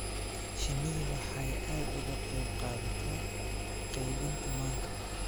Shinnidu waxay aad uga qayb qaadataa qaybinta manka,